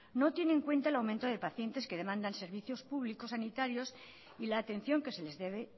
no tiene en cuenta el aumento de pacientes que demandas servicios públicos sanitarios y la atención que se les debe